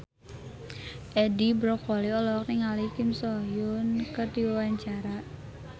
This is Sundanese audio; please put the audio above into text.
Edi Brokoli olohok ningali Kim So Hyun keur diwawancara